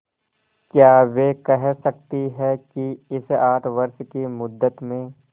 क्या वे कह सकती हैं कि इस आठ वर्ष की मुद्दत में